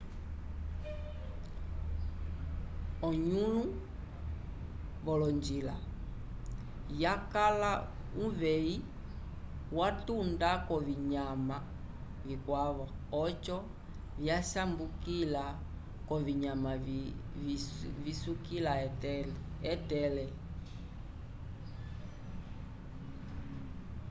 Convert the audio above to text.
onũlo wolonjila yakala uveyi watunda k'ovinyama vikwavo oco vyasambukila k'ovinyama visukila etele